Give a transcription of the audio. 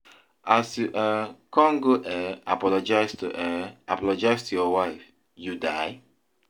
As you um come go um apologise to um apologise to your wife, you die?